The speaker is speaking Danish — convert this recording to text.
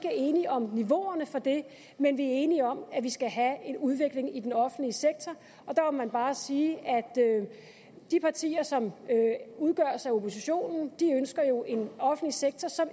er enige om niveauerne for det men vi er enige om at vi skal have en udvikling i den offentlige sektor der må man bare sige at de partier som udgøres af oppositionen jo ønsker en offentlig sektor som